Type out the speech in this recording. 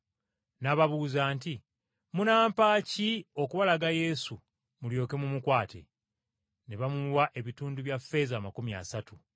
N’ababuuza nti, “Munampa ki okubalaga Yesu mulyoke mumukwate?” Ne bamuwa ebitundu bya ffeeza amakumi asatu.